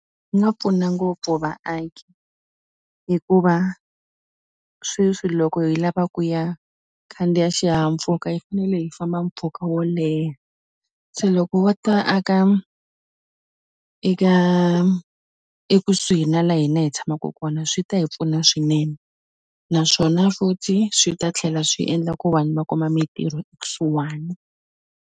Swi nga pfuna ngopfu vaaki hikuva sweswi loko hi lava ku ya khandziya xihahampfhuka hi fanele hi famba mpfhuka wo leha se loko wo ta aka eka ekusuhi na la hina hi tshamaku kona swi ta hi pfuna swinene naswona futhi swi ta tlhela swi endla ku vanhu va kuma mitirho kusuhani.